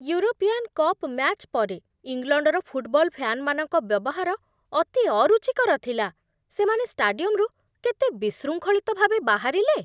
European cup match ପରେ, ଇଂଲଣ୍ଡର football ଫ୍ୟାନ୍‌ମାନଙ୍କ ବ୍ୟବହାର ଅତି ଅରୁଚିକର ଥିଲା, ସେମାନେ ଷ୍ଟାଡିୟମ୍‌ରୁ କେତେ ବିଶୃଙ୍ଖଳିତ ଭାବେ ବାହାରିଲେ!